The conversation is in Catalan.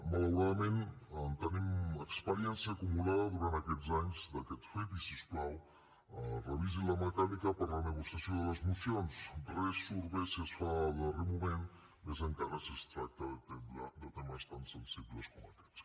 malauradament en tenim experiència acumulada durant aquests anys d’aquest fet i si us plau revisi la mecànica per a la negociació de les mocions res surt bé si es fa a darrer moment més encara si es tracta de temes tan sensibles com aquests